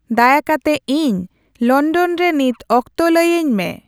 ᱫᱟᱭᱟ ᱠᱟᱛᱮ ᱤᱧ ᱞᱚᱱᱰᱚᱱ ᱨᱮ ᱱᱤᱛ ᱚᱠᱛᱚ ᱞᱟᱹᱭ ᱟᱹᱧ ᱢᱮ